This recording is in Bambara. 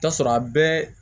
T'a sɔrɔ a bɛɛ